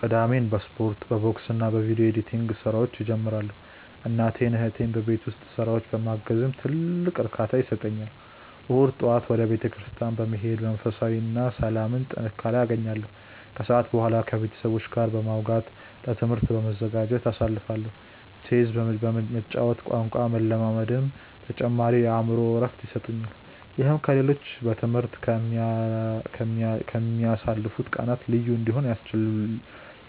ቅዳሜን በስፖርት፣ በቦክስና በቪዲዮ ኤዲቲንግ ስራዎች እጀምራለሁ። እናቴንና እህቴን በቤት ውስጥ ስራዎች ማገዝም ትልቅ እርካታ ይሰጠኛል። እሁድ ጠዋት ወደ ቤተክርስቲያን በመሄድ መንፈሳዊ ሰላምና ጥንካሬ አገኛለሁ፤ ከሰዓት በኋላ ከቤተሰቦቼ ጋር በማውጋትና ለትምህርቴ በመዘጋጀት አሳልፋለሁ። ቼዝ መጫወትና ቋንቋ መለማመድም ተጨማሪ የአእምሮ እረፍት ይሰጡኛል። ይህም ከ ሌሎቹ በ ትምህርት ከ ምያልፉት ቀናት ልዩ እንዲሆኑ